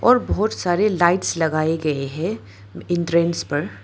और बहोत सारे लाइट्स लगाए गए हैं एंट्रेंस पर।